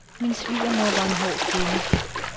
Min svigermor var en hård kvinde.